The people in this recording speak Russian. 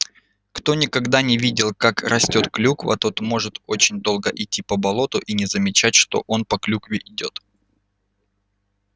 кто никогда не видал как растёт клюква тот может очень долго идти по болоту и не замечать что он по клюкве идёт